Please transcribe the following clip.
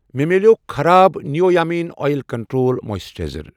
مےٚ میٛلیٛوو خراب نیٖویا مٮ۪ن اۄیل کنٹرٛول مویسچرایز۔